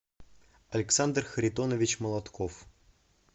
александр харитонович молотков